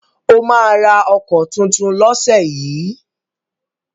Ó máa ra ọkọ̀ tuntun lọ́sẹ̀ yìí?